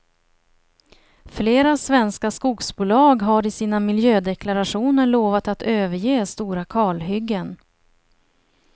Flera svenska skogsbolag har i sina miljödeklarationer lovat att överge stora kalhyggen.